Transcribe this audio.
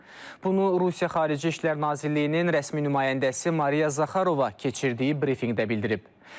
Bunu Rusiya Xarici İşlər Nazirliyinin rəsmi nümayəndəsi Mariya Zaxarova keçirdiyi brifinqdə bildirib.